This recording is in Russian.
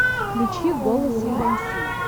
включи голос византии